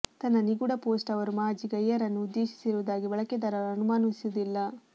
ತನ್ನ ನಿಗೂಢ ಪೋಸ್ಟ್ ಅವರು ಮಾಜಿ ಗೈಯರನ್ನು ಉದ್ದೇಶಿಸಿರುವುದಾಗಿ ಬಳಕೆದಾರರು ಅನುಮಾನಿಸುವುದಿಲ್ಲ